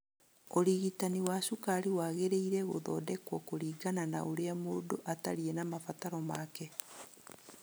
ũrigitani wa cukari wagĩrĩire gũthondekwo kũringana na ũrĩa mũndũ atariĩ na mabataro make.